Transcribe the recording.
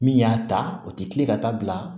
Min y'a ta o tɛ kile ka taa bila